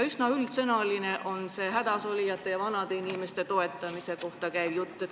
Kogu see hädasolijate ja vanade inimeste toetamise jutt on üsna üldsõnaline.